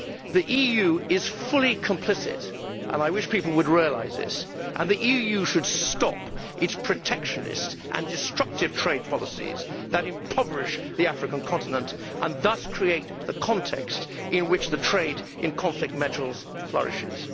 The EU is fully complicit and I wish people would realise this and the EU should stop its protectionist and destructive trade policies that impoverish the African continent and thus create the context in which the trade in conflict metals flourishes.